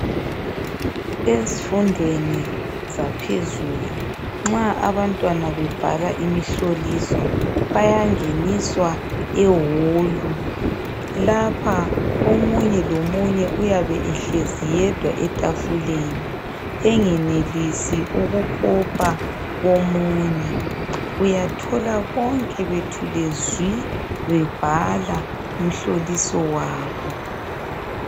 Ezfundweni zaphezulu nxa abantwana bebhala imihloliso, bayangeniswa ewolu. Lapha omunye lomunye uyabe ehlezi yedwa etafuleni, engenelisi ukukopa komunye. Uyathola bonke bethule zwi, bebhala umhloliso wabo.